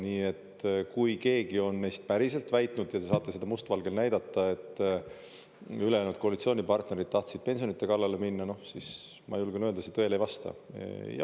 Nii et kui keegi meist on päriselt väitnud ja te saate seda must valgel näidata, et ülejäänud koalitsioonipartnerid tahtsid pensionide kallale minna, siis ma julgen öelda, see tõele ei vasta.